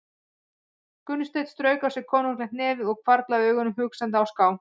Gunnsteinn strauk á sér konunglegt nefið og hvarflaði augunum hugsandi á ská.